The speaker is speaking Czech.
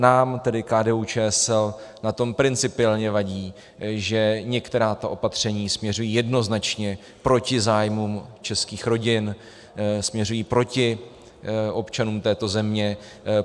Nám, tedy KDU-ČSL, na tom principiálně vadí, že některá ta opatření směřují jednoznačně proti zájmům českých rodin, směřují proti občanům této země.